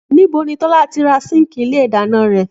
Níbo ni Tọ́lá ti ra síǹkì ilé ìdáná rẹ̀?